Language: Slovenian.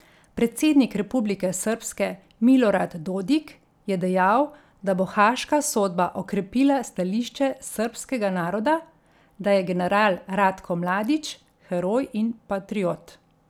Predsednik Republike Srbske Milorad Dodik je dejal, da bo haaška sodba okrepila stališče srbskega naroda, da je general Ratko Mladić heroj in patriot.